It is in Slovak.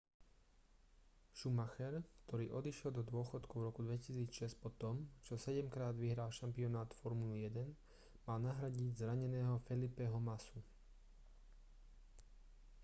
schumacher ktorý odišiel do dôchodku v roku 2006 po tom čo sedemkrát vyhral šampionát formuly 1 mal nahradiť zraneného felipeho massu